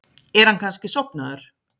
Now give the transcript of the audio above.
Er hann kannski sofnaður?